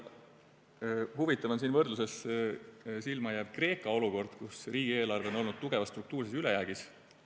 Huvitav on võrdluses silma jääv Kreeka olukord, kus riigieelarve on olnud tugevas struktuurses ülejäägis.